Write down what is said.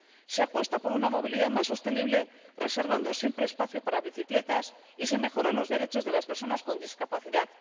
Se apuesta por una movilidad más sostenible, reservando siempre espacio para bicicletas, y se mejoran los derechos de las personas con discapacidad.